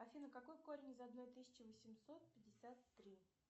афина какой корень из одной тысячи восемьсот пятьдесят три